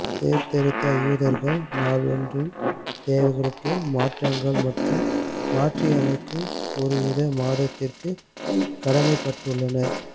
சீர்திருத்த யூதர்கள் நாள் ஒன்றின் தேவைகளுக்கு மாற்றங்கள் மற்றும் மாற்றியமைக்கும் ஒரு யூத மதத்திற்கு கடமைப்பட்டுள்ளனர்